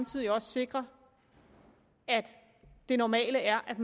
så vi også sikrer at det normale er at